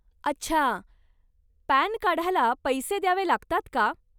अच्छा, पॅन काढायला पैसे द्यावे लागतात का?